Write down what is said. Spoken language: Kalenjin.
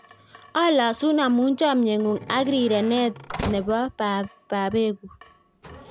Alosun amu chamnyeng'ung' ak rirenten ne babeku